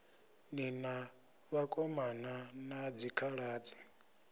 ni na vhakomana na dzikhaladzi